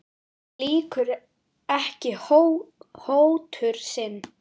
En lýkur ekki hótun sinni.